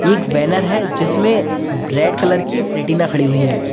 एक बैनर है जिसमें ब्रेड कलर की प्लेटिना खड़ी हुई हैं।